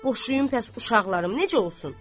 Boşuyum bəs uşaqlarım necə olsun?